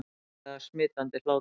Ótrúlega smitandi hlátur